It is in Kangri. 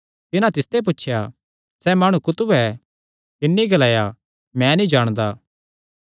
तिन्हां तिसते पुछया सैह़ माणु कुत्थू ऐ तिन्नी ग्लाया मैं नीं जाणदा